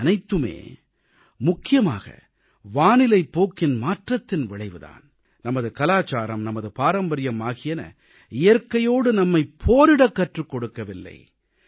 இவையனைத்துமே முக்கியமாக வானிலைப் போக்கின் மாற்றத்தின் விளைவுதான் நமது கலாச்சாரம் நமது பாரம்பரியம் ஆகியன இயற்கையோடு நம்மைப் போரிடக் கற்றுக் கொடுக்கவில்லை